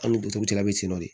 An ni dutogotigi bɛ ten nɔ de